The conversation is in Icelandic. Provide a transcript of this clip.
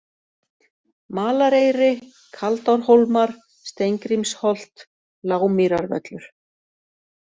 Malareyri, Kaldárhólmar, Steingrímsholt, Lágmýrarvöllur